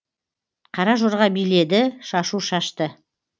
қара жорға биледі шашу шашты